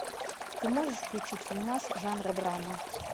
ты можешь включить фильмас жанра драма